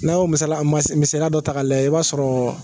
N'an y'o misala dɔ ta k'a lajɛ, an b'a b'a sɔrɔ